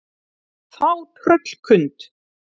Þá tröllkund